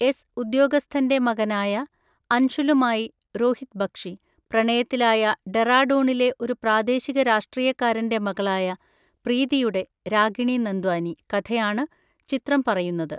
S ഉദ്യോഗസ്ഥൻ്റെ മകനായ അൻഷുലുമായി (രോഹിത് ബക്ഷി) പ്രണയത്തിലായ ഡെറാഡൂണിലെ ഒരു പ്രാദേശിക രാഷ്ട്രീയക്കാരൻ്റെ മകളായ പ്രീതിയുടെ (രാഗിണി നന്ദ്വാനി) കഥയാണ് ചിത്രം പറയുന്നത്.